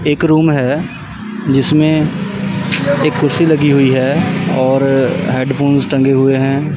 एक रूम है जिसमें एक कुर्सी लगी हुई है और हेडफोन्स टंगे हुए हैं।